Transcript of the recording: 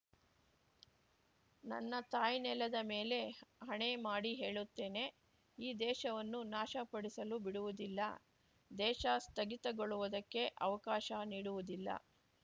ನನ್ನ ತಾಯ್ನೆಲದ ಮೇಲೆ ಆಣೆ ಮಾಡಿ ಹೇಳುತ್ತೇನೆ ಈ ದೇಶವನ್ನು ನಾಶಪಡಿಸಲು ಬಿಡುವುದಿಲ್ಲ ದೇಶ ಸ್ಥಗಿತಗೊಳ್ಳುವುದಕ್ಕೆ ಅವಕಾಶ ನೀಡುವುದಿಲ್ಲ